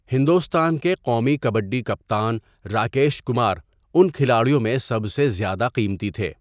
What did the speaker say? ہندوستان کے قومی کبڈی کپتان راکیش کمار ان کھلاڑیوں میں سب سے زیادہ قیمتی تھے.